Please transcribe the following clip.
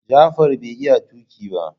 Jafar bai iya tuki ba.